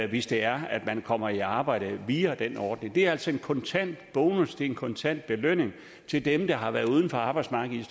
hvis det er at man kommer i arbejde via den ordning det er altså en kontant bonus det er en kontant belønning til dem der har været uden for arbejdsmarkedet